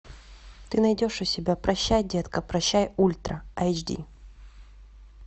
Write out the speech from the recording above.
ты найдешь у себя прощай детка прощай ультра айч ди